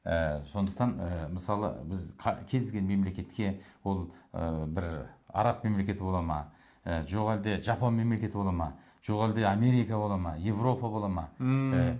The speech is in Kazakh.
ы сондықтан ы мысалы біз кез келген мемлекетке бұл ы бір араб мемлекеті бола ма ы жоқ әлде жапон мемлекеті бола ма жоқ әлде америка бола ма европа бола ма ммм ы